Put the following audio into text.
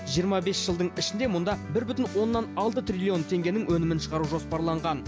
жиырма бес жылдың ішінде мұнда бір бүтін оннан алты триллион теңгенің өнімін шығару жоспарланған